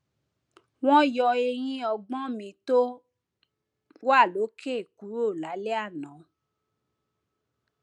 wọn yọ eyín ọgbọn mi tó wà lókè kúrò lálẹ àná